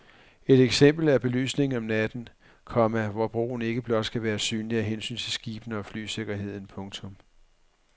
Et eksempel er belysningen om natten, komma hvor broen ikke blot skal være synlig af hensyn til skibene og flysikkerheden. punktum